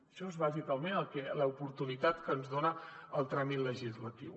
això és bàsicament l’oportunitat que ens dona el tràmit legislatiu